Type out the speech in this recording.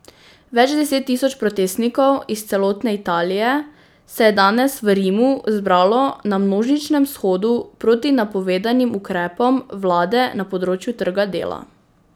Več deset tisoč protestnikov iz celotne Italije se je danes v Rimu zbralo na množičnem shodu proti napovedanim ukrepom vlade na področju trga dela.